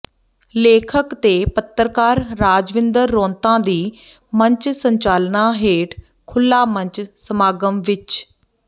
ਲੇਖਕ ਤੇ ਪੱਤਰਕਾਰ ਰਾਜਵਿੰਦਰ ਰੌਂਤਾ ਦੀ ਮੰਚ ਸੰਚਾਲਨਾ ਹੇਠ ਖੁੱਲਾ ਮੰਚ ਸਮਾਗਮ ਵਿੱਚ ਡਾ